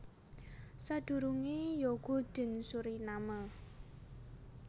Sadurungé ya Gulden Suriname